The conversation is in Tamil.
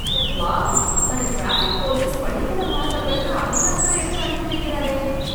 வாவ்! அந்த டிராஃபிக் போலீஸ் பள்ளிக்கூட மாணவர்களுக்கு அதிக அக்கறை எடுத்து அனுப்பி வெக்கறாரே.